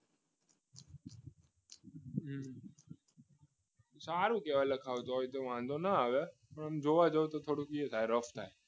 સારું કહેવાય લખાયું હોય તો વાંધો ન આવે પણ જોવા જઈએ તો થોડુંક એ લાગે રફ થાય